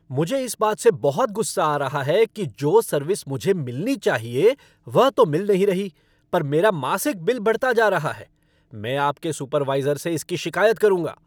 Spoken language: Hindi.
मुझे इस बात से बहुत गुस्सा आ रहा है कि जो सर्विस मुझे मिलनी चाहिए वह तो मिल नहीं रही पर मेरा मासिक बिल बढ़ता जा रहा है। मैं आपके सुपरवाइज़र से इसकी शिकायत करूंगा।